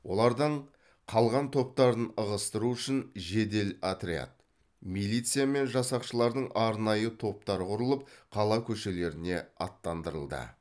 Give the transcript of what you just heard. олардаң қалған топтарын ығыстыру үшін жедел отряд милиция мен жасақшылардың арнайы топтар құрылып қала көшелеріне аттандырылды